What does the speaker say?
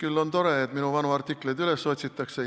Küll on tore, et minu vanu artikleid üles otsitakse!